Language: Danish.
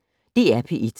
DR P1